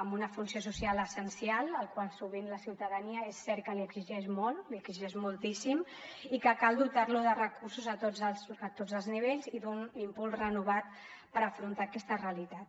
amb una funció social essencial al qual sovint la ciutadania és cert que li exigeix molt li exigeix moltíssim i que cal dotarlo de recursos a tots els nivells i d’un impuls renovat per afrontar aquesta realitat